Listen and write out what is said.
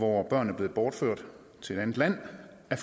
hvor børn er blevet bortført til et andet land af